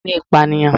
Ẹ̀sẹ̀ ni ìpànìyàn